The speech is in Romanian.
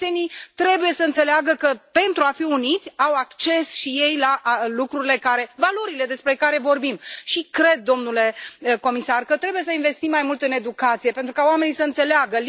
Cetățenii trebuie să înțeleagă că, pentru a fi uniți au acces și ei la lucrurile care, valorile despre care vorbim și cred, domnule comisar, că trebuie să investim mai mult în educație, pentru ca oamenii să înțeleagă.